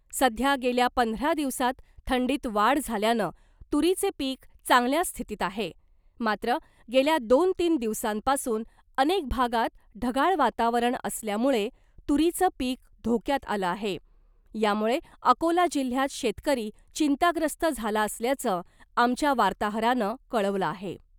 सध्या गेल्या पंधरा दिवसांत थंडीत वाढ झाल्यानं , तुरीचे पीक चांगल्या स्थितीत आहे , मात्र गेल्या दोन तीन दिवसांपासून अनेक भागात ढगाळ वातावरण असल्यामुळे तुरीचं पीक धोक्यात आलं आहे , यामुळे अकोला जिल्ह्यात शेतकरी चिंताग्रस्त झाला असल्याचं , आमच्या वार्ताहरानं कळवलं आहे .